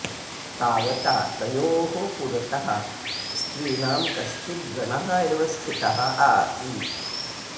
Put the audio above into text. तावता तयोः पुरतः स्त्रीणां कश्चित् गणः एव स्थितः आसीत्